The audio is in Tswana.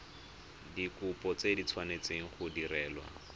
dikopo di tshwanetse go direlwa